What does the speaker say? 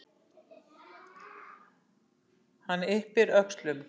Hann yppir öxlum.